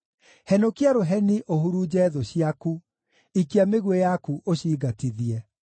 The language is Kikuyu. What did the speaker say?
Henũkia rũheni ũhurunje thũ ciaku; ikia mĩguĩ yaku ũcingatithie.